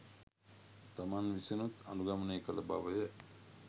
තමන් විසිනුත් අනුගමනය කළ බව ය.